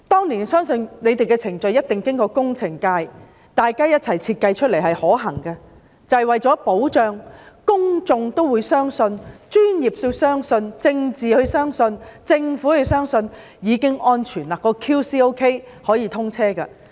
我相信這些程序一定是工程界共同設計而成，大家均認為可行，為了保障安全，以及讓公眾、專業人士、政界人士和政府都相信是安全的，已經做好 QC， 才可以通車。